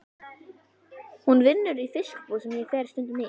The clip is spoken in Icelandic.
Hún vinnur í fiskbúð sem ég fer stundum í.